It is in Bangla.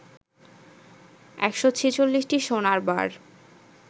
১৪৬টি সোনার বার